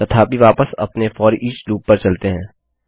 तथापि वापस अपने फोरिच लूप पर चलते हैं